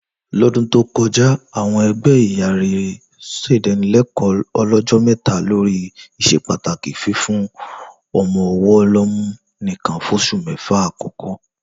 Lọ́dún tó ko̩já, àwo̩n e̩gbé̩ ìyá rere s̩èdánilé̩kò̩ó̩ o̩ló̩jó̩ mé̩ta lórí ìs̩epàtàkì fífún o̩mo̩-o̩wó̩ lọ́mú nìkan fós̩ù mé̩fà àkó̩kó̩